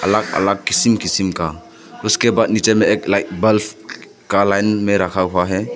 अलग अलग किसिम किसिम का उसके बाहर नीचे में एक लाइट बल्ब का लाइन में रखा हुआ है।